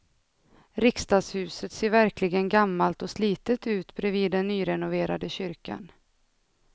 Riksdagshuset ser verkligen gammalt och slitet ut bredvid den nyrenoverade kyrkan.